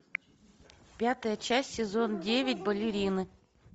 пятая часть сезон девять балерины